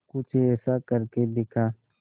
कुछ ऐसा करके दिखा